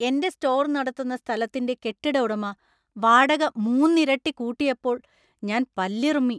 എന്‍റെ സ്റ്റോർ നടത്തുന്ന സ്ഥലത്തിന്‍റെ കെട്ടിട ഉടമ വാടക മൂന്നിരട്ടി കൂട്ടിയപ്പോൾ ഞാന്‍ പല്ലിറുമ്മി.